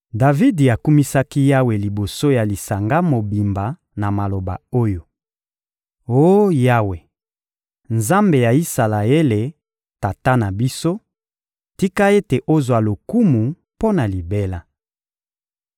Davidi akumisaki Yawe liboso ya lisanga mobimba na maloba oyo: «Oh Yawe, Nzambe ya Isalaele, tata na biso, tika ete ozwa lokumu mpo na libela!